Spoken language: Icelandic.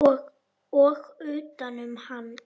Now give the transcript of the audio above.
Og utanum hann.